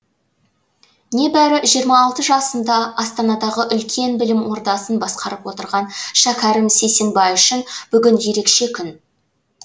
небәрі жиырма алты жасында астанадағы үлкен білім ордасын басқарып отырған шәкәрім сейсенбай үшін бүгін ерекше күн